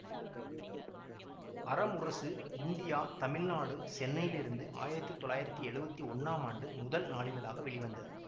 அற முரசு இந்தியா தமிழ் நாடு சென்னையிலிருந்து ஆயிரத்தி தொள்ளாயிரத்தி எழுவத்தி ஒன்னாம் ஆண்டு முதல் நாளிதழாக வெளிவந்தது